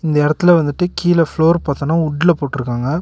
இந்த எடத்துல வந்துட்டு கீழ ப்ளோர் பாத்தனா உட்ல போட்ருக்காங்க.